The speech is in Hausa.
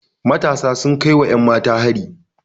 Matasa sun kai wa 'yanmata hari.